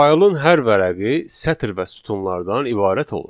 Faylın hər vərəqi sətir və sütunlardan ibarət olur.